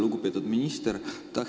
Lugupeetud minister!